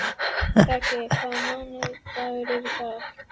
Raggi, hvaða mánaðardagur er í dag?